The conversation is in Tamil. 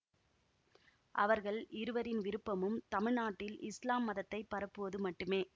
அவர்கள் இருவரின் விருப்பமும் தமிழ் நாட்டில் இஸ்லாம் மதத்தை பரப்புவது மட்டுமே